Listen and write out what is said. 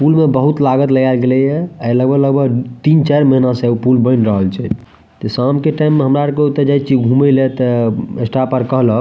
पुल में बहुत लागत लगाएल गैले ये आय लगभग लगभग तीन चार महीना से उ पुल बएन रहल छै ते शाम के टाइम में हमरा आर के जाय छीये ओता घूमेले ते स्टाफ आर कहलक --